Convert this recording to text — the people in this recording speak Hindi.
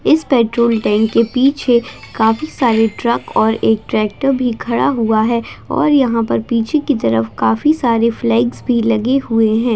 इस पेट्रोल टैंक के पीछे काफी सारे ट्रक और एक ट्रैक्टर भी खड़ा हुआ है और यहाँ पर पीछे की तरफ काफी सारे फ्लैग्स भी लगे हुए हैं।